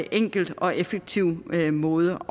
enkel og effektiv måde